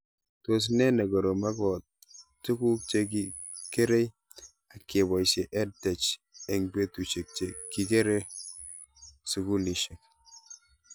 Tos nee ne korom akopo tuguk che kerei ak kepoishe EdTech eng' petushek che kiker sukulishek